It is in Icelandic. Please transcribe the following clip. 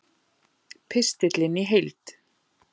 Pistillinn í heild